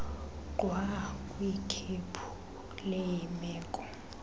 gxwa kwikhephu leemeko